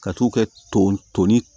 Ka t'u kɛ ton toni